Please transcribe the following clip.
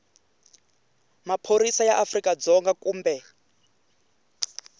maphorisa ya afrika dzonga kumbe